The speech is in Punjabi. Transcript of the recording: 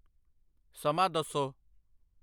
ਸਮਾਂ ਦੱਸੋ